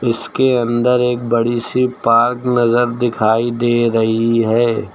इसके अंदर एक बड़ी सी पार्क नजर दिखाई दे रही है।